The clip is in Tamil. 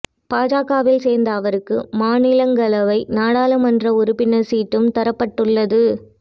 பாஜகவில் சேர்ந்த அவருக்கு மாநிலங்களவை நாடாளுமன்ற உறுப்பினர் சீட்டும் தரப்பட்டுள்ளது